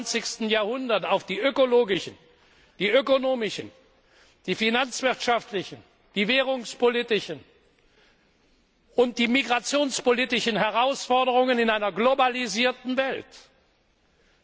im 21. Jahrhundert auf die ökonomischen, die ökologischen, die finanzwirtschaftlichen, die währungspolitischen und die migrationspolitischen Herausforderungen in einer globalisierten Welt